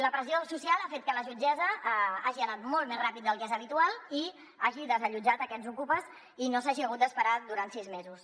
la pressió social ha fet que la jutgessa hagi anat molt més ràpid del que és habitual i hagi desallotjat aquests ocupes i no s’hagin hagut d’esperar durant sis mesos